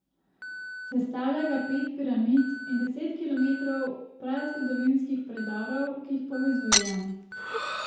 Sestavlja ga pet piramid in deset kilometrov prazgodovinskih predorov, ki jih povezujejo.